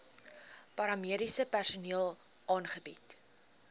paramediese personeel aangebied